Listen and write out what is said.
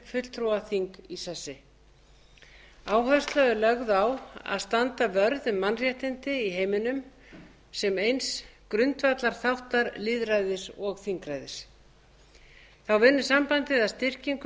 fulltrúaþing í sessi áhersla er lögð á að standa vörð um mannréttindi í heiminum sem eins grundvallarþáttar lýðræðis og þingræðis þá vinnur sambandið að styrkingu